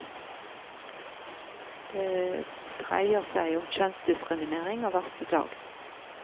Det dreier seg om kjønnsdiskriminerg av verste slag.